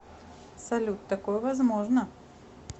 салют такое возможно